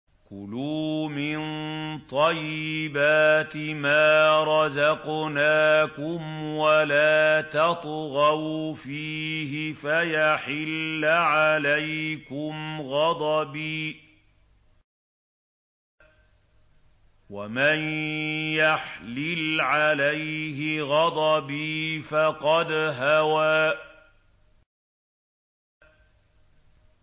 كُلُوا مِن طَيِّبَاتِ مَا رَزَقْنَاكُمْ وَلَا تَطْغَوْا فِيهِ فَيَحِلَّ عَلَيْكُمْ غَضَبِي ۖ وَمَن يَحْلِلْ عَلَيْهِ غَضَبِي فَقَدْ هَوَىٰ